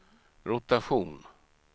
rotation